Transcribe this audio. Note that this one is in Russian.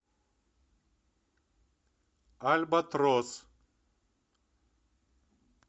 альбатрос